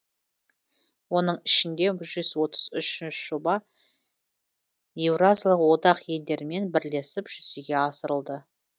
оның ішінде жүз отыз үш жоба еуразиялық одақ елдерімен бірлесіп жүзеге асырылды